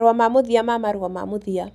Marũa ma Mũthia ma Marũa ma Mũthia